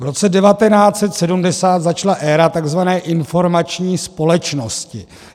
V roce 1970 začala éra tzv. informační společnosti.